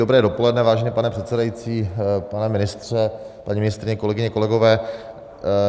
Dobré dopoledne, vážený pane předsedající, pane ministře, paní ministryně, kolegyně, kolegové.